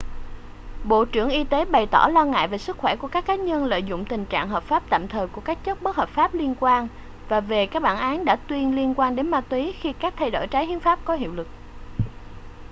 bộ trưởng y tế bày tỏ lo ngại cả về sức khỏe của các cá nhân lợi dụng tình trạng hợp pháp tạm thời của các chất bất hợp phát liên quan và về các bản án đã tuyên liên quan đến ma túy khi các thay đổi trái hiến pháp có hiệu lực